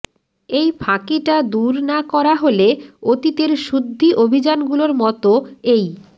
এই ফাঁকিটা দূর না করা হলে অতীতের শুদ্ধি অভিযানগুলোর মতো এই